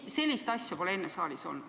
Sellist asja pole enne saalis olnud.